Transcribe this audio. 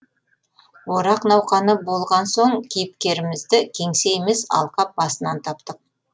орақ науқаны болған соң кейіпкерімізді кеңсе емес алқап басынан таптық